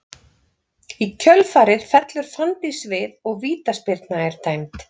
Í kjölfarið fellur Fanndís við og vítaspyrna er dæmd.